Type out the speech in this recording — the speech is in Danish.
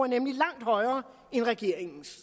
nemlig langt højere end regeringens